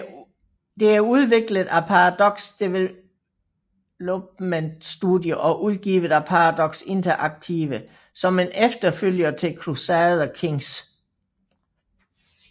Det er udviklet af Paradox Development Studio og udgivet af Paradox Interactive som en efterfølger til Crusader Kings